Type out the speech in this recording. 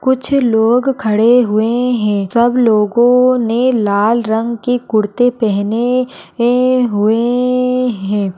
कुछ लोग खड़े हुए हैं सब लोगो ने लाल रंग के कुर्ते पेहेने हुए है।